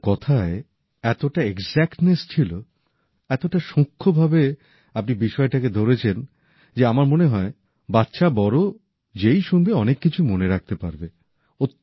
আপনার কথায় এতটা চমৎকার বাচিকধারা ছিল এতটা সুক্ষ্ণভাবে আপনি বিষয়টাকে ধরেছেন যে আমার মনে হয় বাচ্চা বড় যেই শুনবে অনেক কিছুই মনে রাখতে পারবে